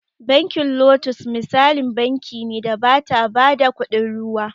Bankin lotus misalin banki ne da bata ba da kuɗin ruwa